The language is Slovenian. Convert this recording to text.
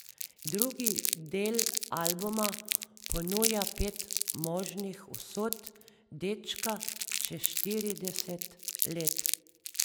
Drugi del albuma ponuja pet možnih usod dečka čez štirideset let.